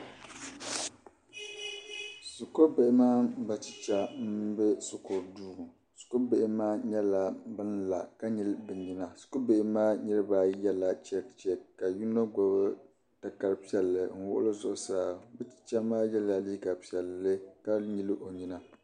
Shikuribihi mini bɛ chicha m-be shikuru duu shikuribihi maa nyɛla ban la ka nyili bɛ nyina shikuribihi maa niriba ayi yɛla chɛkichɛki ka yino gbibi takar' piɛlli n-wuɣi li zuɣusaa bɛ chicha maa yɛla liiga piɛlli ka nyili o nyina.